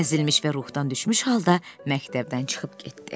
Əzilmiş və ruhdan düşmüş halda məktəbdən çıxıb getdi.